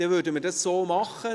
Dann gehen wir so vor.